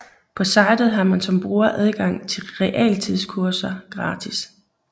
På sitet har man som bruger adgang til realtidskurser gratis